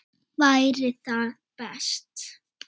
Væri það best?